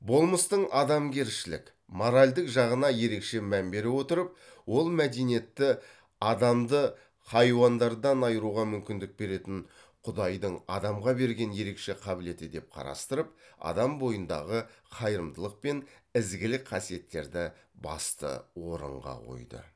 болмыстың адамгершілік моральдық жағына ерекше мән бере отырып ол мәдениетті адамды хайуандардан айыруға мүмкіндік беретін құдайдың адамға берген ерекше қабілеті деп қарастырып адам бойындағы қайырымдылық пен ізгілік қасиеттерді басты орынға қойды